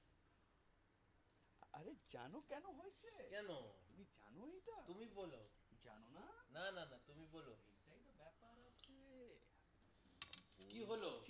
কি হলো